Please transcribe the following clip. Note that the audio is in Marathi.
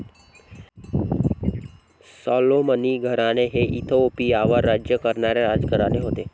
सॉलोमनी घराणे हे इथिओपियावर राज्य करणारे राजघराणे होते.